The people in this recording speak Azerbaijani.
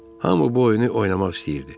Hamı bu oyunu oynamaq istəyirdi.